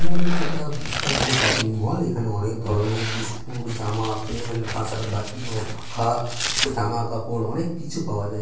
মনে হচ্ছে একটা বিশাল বড়ো শপিংমল এখানে অনেক ধরনের বিস্কুট জামা প্যান্ট কাঁসার বাটি ও পাখা জামাকাপড় অনেক কিছু পাওয়া যায়।